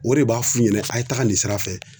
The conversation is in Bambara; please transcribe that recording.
O de b'a f'u ɲɛnɛ a' ye taga nin sira fɛ